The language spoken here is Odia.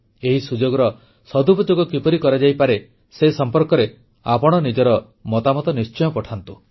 ଏହି ସୁଯୋଗର ସଦୁପଯୋଗ କିପରି କରାଯାଇପାରେ ସେ ସମ୍ପର୍କରେ ନିଜର ମତାମତ ନିଶ୍ଚୟ ପଠାନ୍ତୁ